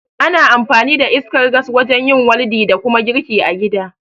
Ana amfani da iskar gas wajen yin waldi da kuma girki a gida